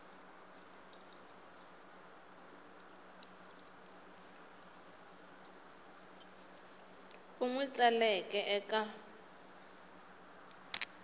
u n wi tsaleke eka